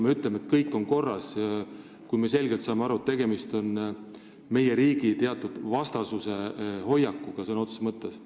Me ütleme, et kõik on korras, ehkki me saame selgelt aru, et tegemist on meie riigi vastase hoiakuga sõna otseses mõttes.